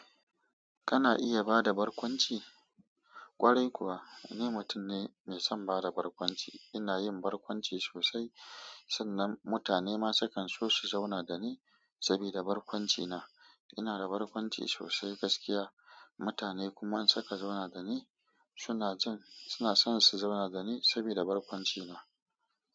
Kana iya bada barkwanci? Kwarai kuwa, ni mutum ne mai son bada barkwanci. Ina yin barkwanci sosai sannan mutane ma sukan so su zauna da ni sabida barkwanci na. Ina da barkwanci sosai gaskiya, mutane kuma in suka zauna da ni. Su na jin, su na so su zauna da ni sabida barkwanci na.